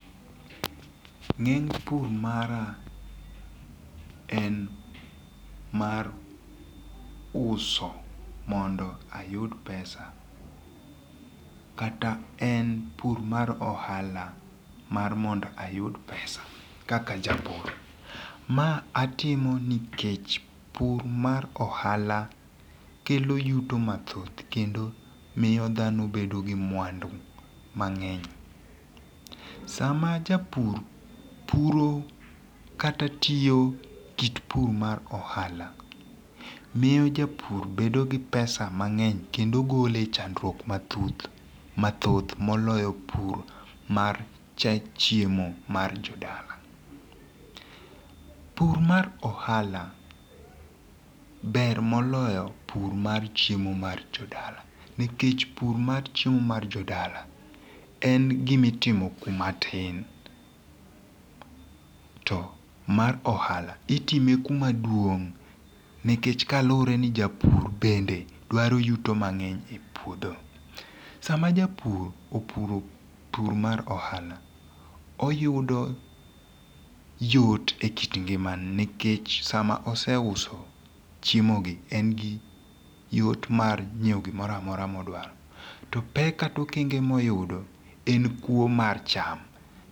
Ng'eng' pur mara en mar uso mondo ayud pesa kata en pur mar ohala mar mondo ayud pesa kaka ajapur ma atimo nikech pur mar ohala kelo yuto mathoth kendo miyo thano bedo gi mwandu mange'ny sama japur puro kata tiyo kit pur mar ohala miyo japur bedo gi pesa mangeny kendo gole e chandruok mathoth moloyo pur mar chiemo mar jodala, pur mar ohala ber moloyo pur mar chiemo mar jo dala nikech pur mar chiemo mar jodala en gimitimo kuma tin to mar ohala itime kumaduong' nikech kalure ni japur bende dwaro yuto mang'eny e puodho, sama japur opuro pur mar ohala oyudo yot e kit ngimane nikech sama oseuso chiemogi engi yot mar nyiewo gimoro amora ma oduaro to pek kata okenge mora mora ma oyudo en kuo mar cham.